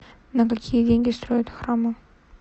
на какие деньги строят храмы